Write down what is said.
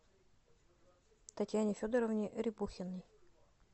татьяне федоровне рябухиной